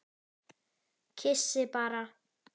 Kyssi bara.